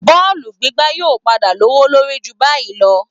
Bọ́ọ̀lù gbígbá yóò padà lówó lórí ju báyìí lọ